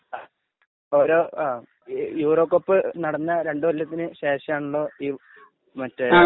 ഓരോ. ങാ .. യൂറോകപ്പ് നടന്നു രണ്ടുകൊല്ലത്തിനു ശേഷമാണല്ലോ ഈ മറ്റേ